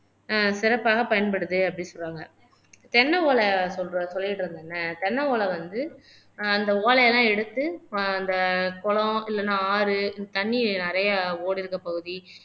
ஆஹ் சிறப்பாக பயன்படுது அப்படின்னு சொல்லுவாங்க தென்னை ஓலை சொல்லிட்டு இருந்தல்ல தென்ன ஓலை வந்து ஆஹ் அந்த ஓலை எல்லாம் எடுத்து ஆஹ் அந்த குளம் இல்லைன்னா ஆறு தண்ணி நிறைய ஓடிருக்க பகுதி